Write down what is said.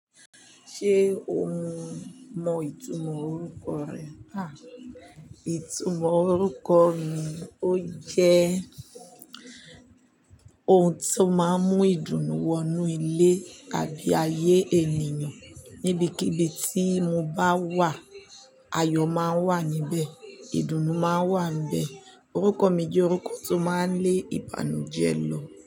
Ṣé o mọ ìtumọ̀ orúkọ rẹ? Ìtumọ̀ orúkọ mi ó jẹ́ ohun tó máa ń mú ìdùnnú wọ inú ilé àbí ayé ènìyàn. Nibikibi tí mo bá wà, ayọ̀ máa ń wà níbẹ̀, ìdùnnú máa wà n bẹ̀. Orúkọ mi jẹ́ orúkọ tó máa ń lé ìbànújẹ́ lọ.